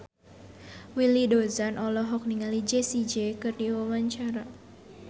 Willy Dozan olohok ningali Jessie J keur diwawancara